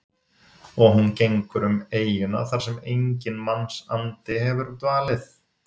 Og hún gengur um eyjuna þar sem enginn mannsandi hefur dvalið.